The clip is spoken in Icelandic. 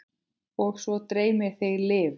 Og svo dreymir þig lifur!